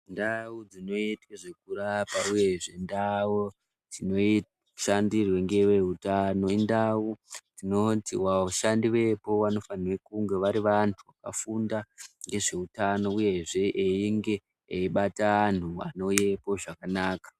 Ndau dzinoite zvekurapwa, uyezve ndau dzinoshandirwe ngeveutano, indau dzinonzi vashandi vepo vanofanhe kunge vari vanhu vakafunda nezveutano, uyehe einge eibata antu anouyepo zvakanaka.